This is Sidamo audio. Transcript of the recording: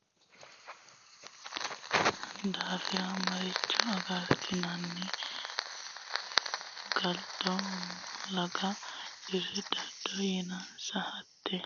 Hatte yannara doogo heedheenna kuni coy dilawannoe yii galashshi Yoommoti iillitino daafira maricho agartinanni galdo laga care dodde yiinsa Hatte.